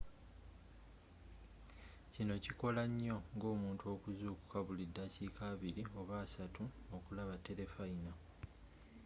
kino kikoya nyo ng'omuntu okuzzukuka buli ddakika abili oba assatu okulaba telefayina